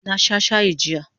Na sha shayi jiya